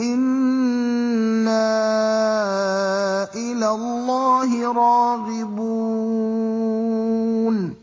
إِنَّا إِلَى اللَّهِ رَاغِبُونَ